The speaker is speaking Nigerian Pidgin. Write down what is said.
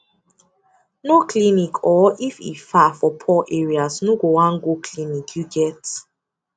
no clinic or if e far people for poor areas no go wan go clinic you get